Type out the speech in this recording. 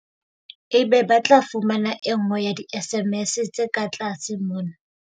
Ebe ba tla fumana e nngwe ya di-SMS tse ka tlase mona.